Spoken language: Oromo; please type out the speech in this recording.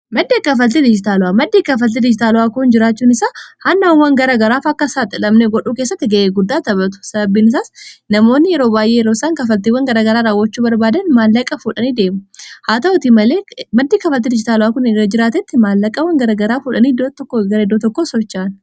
maddii kafaltei dijitaalu'aa maddii kafaltii dijitaalu'aa kuun jiraachuun isaa handhawawwan gara garaaf akka isaaxilabnee godhuu kessatti ga'e guddaa tapatu sababiinisaas namoonni yeroo baaee yroosaan kafaltiiwwan garagaraa raawwochuu barbaadan maallaaqaa fuudhanii deemu haa ta'uti maddii kafaltii dijitaalu'aa kun jiraatetti maallaaqawwan garagaraa fuudhanii d1 gara d 1 sochaan